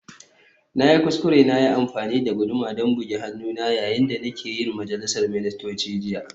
Na yi kuskure na yi amfani da guduma don bugi hannuna yayin da nake yin majalisar ministocin jiya